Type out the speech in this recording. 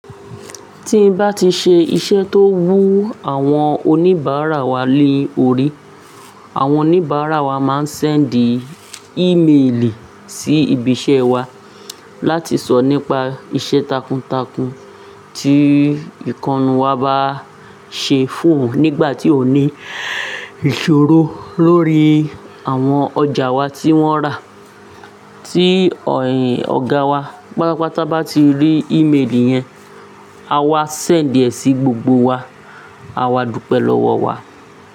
Tí n bá ti ṣe iṣẹ́ tó wú àwọn oníbàárà wa lé orí, àwọn oníbàárà wa máá ń sendì ímeèlì sí ibi iṣẹ́ wa láti sọ nípa iṣẹ́ takuntakun tí ìkannu wa bá ṣe fún oun nígbà tí oun ní ìṣòro lórí àwọn ọjà wa tí wọ́n rà. Tí ọ̀gá wa, pápàpá tá bá ti rí ímeèlì yẹn, a máa sendì ẹ sí gbogbo wa, àwa dúpẹ́ lọ́wọ́ wa.